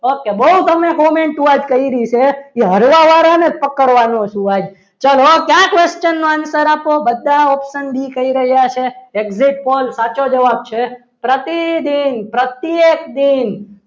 okay બહુ તમે comment ઓ આજ કરી છે કે હળવા વાળાને જ પકડવાનો છું આજ ચલો કયા question નો answer આપો બધા option બી કહી રહ્યા છે exit Pol સાચો જવાબ છે પ્રતિદિન પ્રત્યેક દિન